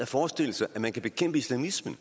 forestille sig at man kan bekæmpe islamismen